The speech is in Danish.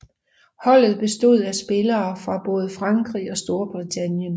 Holdet bestod af spillere fra både Frankrig og Storbritannien